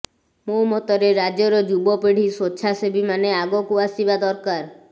ମୋ ମତରେ ରାଜ୍ୟର ଯୁବପିଢ଼ି ସ୍ୱେଚ୍ଛାସେବୀମାନେ ଆଗକୁ ଆସିବା ଦରକାର